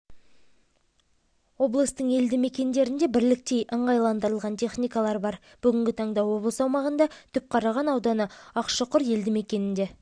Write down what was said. облыстың елді мекендерінде бірліктей ыңғайландырылған техникалар бар бүгінгі таңда облыс аумағында түпқараған ауданы ақшұқұр елді мекенінде